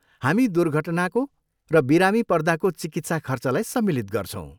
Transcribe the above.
हामी दुर्घटनाको र बिरामी पर्दाको चिकित्सा खर्चलाई सम्मिलित गर्छौँ।